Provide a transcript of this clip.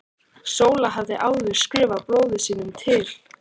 Sóla hafði áður skrifað bróður sínum til